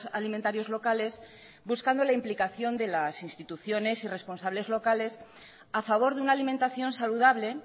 alimentarios locales buscando la implicación de las instituciones y responsables locales a favor de una alimentación saludable